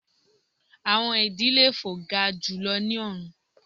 Awọn idì le fo ga julọ ni ọrun